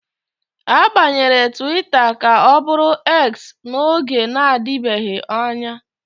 A gbanwere Twita ka ọ bụrụ X n'oge na-adịbeghị anya